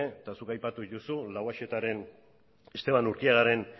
eta zuk aipatu dituzu lauaxetaren estepan urkiagaren